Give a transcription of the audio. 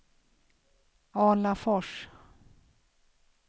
Alafors